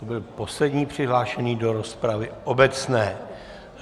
To byl poslední přihlášený do rozpravy obecné.